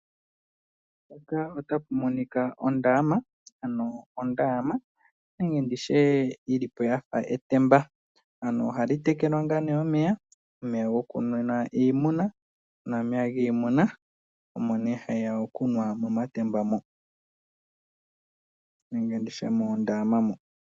Mpaka otapu monika ondama. Ano ondama yilipo yafa etemba. Ohayi tekelwa ngaa nee omeya omeya goku nwina ngaa nee iimuna, omeya giimuna. Omo ne hayiya okunwa momatemba mo nenge nditye moondama mo.